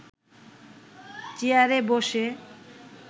চেয়ারে বসে